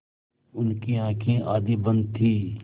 उनकी आँखें आधी बंद थीं